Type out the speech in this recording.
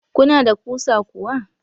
Kuna da kusa kuwa?